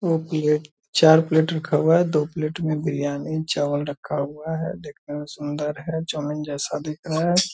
दो प्लेट चार प्लेट रखा हुआ है दो प्लेट में बिरयानी चावल रखा हुआ है देखने में सुंदर है चाउमीन जैसा दिख रहा है ।